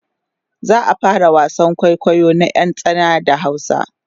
za'a fara wasan kwaikwayo na ƴar tsana da hausa